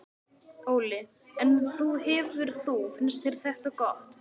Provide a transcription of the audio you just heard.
Óli: En þú hefur þú, finnst þér þetta gott?